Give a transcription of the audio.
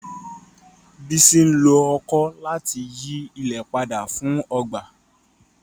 Bísí nló ọ̀kọ̀ láti yí ilẹ̀ padà fún ọgba.